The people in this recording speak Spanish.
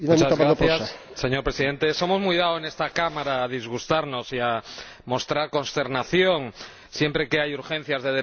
Señor Presidente, somos muy dados en esta Cámara a disgustarnos y a mostrar consternación siempre que hay urgencias de derechos humanos.